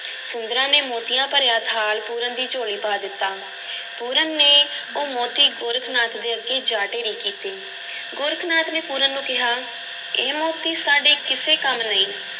ਸੁੰਦਰਾਂ ਨੇ ਮੋਤੀਆਂ ਭਰਿਆ ਥਾਲ ਪੂਰਨ ਦੀ ਝੋਲੀ ਪਾ ਦਿੱਤਾ ਪੂਰਨ ਨੇ ਉਹ ਮੋਤੀ ਗੋਰਖ ਨਾਥ ਅੱਗੇ ਜਾ ਢੇਰੀ ਕੀਤੇ, ਗੋਰਖ ਨਾਥ ਨੇ ਪੂਰਨ ਨੂੰ ਕਿਹਾ, ਇਹ ਮੋਤੀ ਸਾਡੇ ਕਿਸੇ ਕੰਮ ਨਹੀਂ।